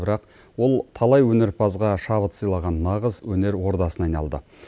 бірақ ол талай өнерпазға шабыт сыйлаған нағыз өнер ордасына айналды